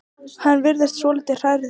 Hann virðist svolítið hrærður.